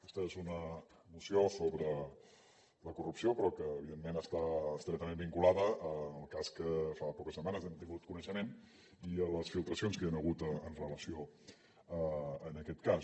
aquesta és una moció sobre la corrupció però que evidentment està estretament vinculada al cas que fa poques setmanes hem tingut coneixement i a les filtracions que hi han hagut en relació amb aquest cas